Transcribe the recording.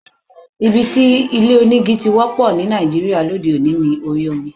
Ibi tí ilé onígi ti wọ́pọ̀ ní Nàìjíríà lóde òní ni orí omi.